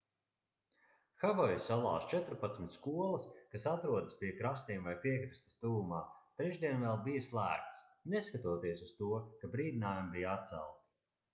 havaju salās četrpadsmit skolas kas atrodas pie krastiem vai piekrastes tuvumā trešdien vēl bija slēgtas neskatoties uz to ka brīdinājumi bija atcelti